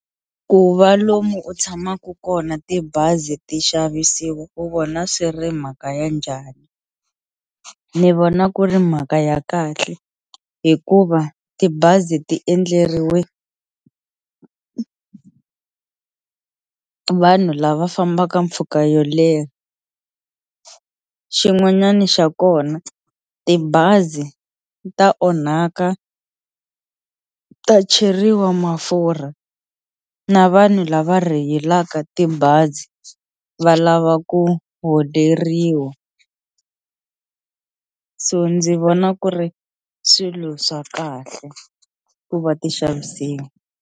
Ku va lomu u tshamaka kona tibazi ti xavisiwa u vona swi ri mhaka ya njhani ni vona ku ri mhaka ya kahle hikuva tibazi ti endleriwe vanhu lava fambaka mpfhuka yo leha xin'wanyana xa kona tibazi ta onhaka ta cheriwa mafurha na vanhu lava rheyilaka tibazi va lava ku holeriwa so ndzi vona ku ri swilo swa kahle ku va ti xavisiwa.